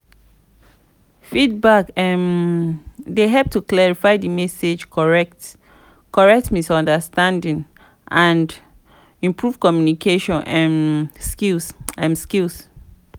feedback um dey help to clarify di message correct misunderstanding and improve communication um skills. skills.